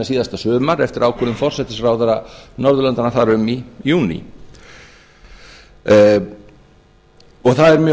síðasta sumar eftir ákvörðun forsætisráðherra norðurlandanna þar um í júní það er mjög